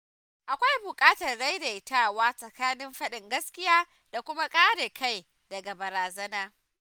Akwai bukatar daidaitawa tsakanin fadin gaskiya da kuma kare kai daga barazana.